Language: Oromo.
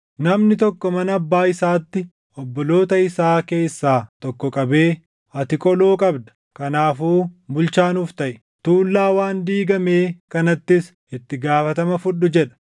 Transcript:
Namni tokko mana abbaa isaatti, obboloota isaa keessaa tokko qabee, “Ati qoloo qabda; kanaafuu bulchaa nuuf taʼi; tuullaa waan diigamee kanattis itti gaafatama fudhu!” jedha.